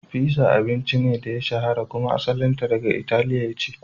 Fizza abincin ne da ya shahara kuma asalinta daga Italiya ce.